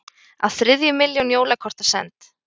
Á þriðju milljón jólakorta send